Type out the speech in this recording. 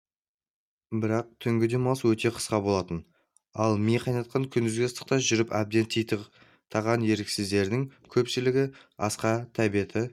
бірақ түнгі демалыс өте қысқа болатын ал ми қайнатқан күндізгі ыстықта жүріп әбден титықтаған еріксіздердің көпшілігі асқа тәбеті